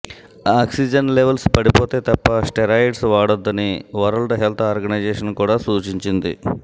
oxygen levels పడిపోతే తప్ప steroids వాడొద్దని వరల్డ్ హెల్త్ ఆర్గనైజేషన్ కూడా సూచించింది